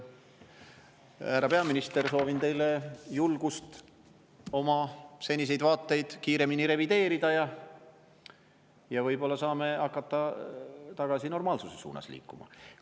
Härra peaminister, soovin teile julgust oma seniseid vaateid kiiremini revideerida, võib-olla saame hakata tagasi normaalsuse suunas liikuma.